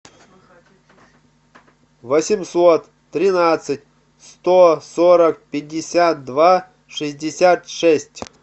восемьсот тринадцать сто сорок пятьдесят два шестьдесят шесть